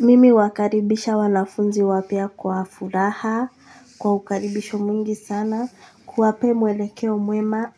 Mimi huwakaribisha wanafunzi wapya kwa furaha, kwa ukaribisho mwingi sana, kuwapee mwelekeo mwema,